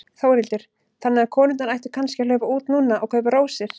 Þórhildur: Þannig að konurnar ættu kannski að hlaupa út núna og kaupa rósir?